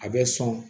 A bɛ sɔn